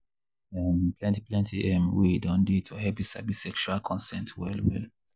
um plenty plenty um way don dey to help you sabi sexual consent well well.